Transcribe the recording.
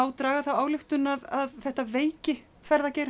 draga þá ályktun að þetta veiki